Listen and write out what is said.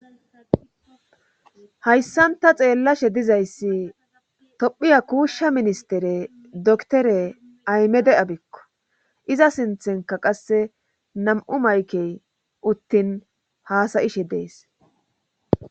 hayssanta xeellashe dizayssi tophiya kuushsha ministere doktore aymede7abikko iza sinthenka qasse nam7u maykey uttin haasayishe dees